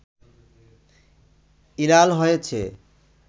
ই লাল হয়েছে